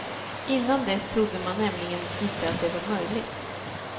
Innan dess trodde man nämligen inte att det var möjligt.